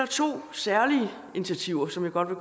to særlige initiativer som jeg godt vil